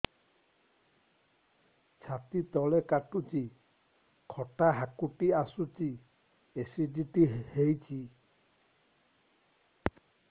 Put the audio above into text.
ଛାତି ତଳେ କାଟୁଚି ଖଟା ହାକୁଟି ଆସୁଚି ଏସିଡିଟି ହେଇଚି